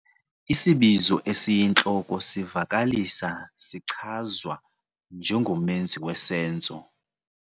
Isibizo esiyintloko sivakalisa sichazwa njengomenzi wesenzo.